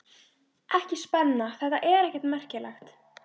Ekki spenna- þetta er ekkert merkilegt.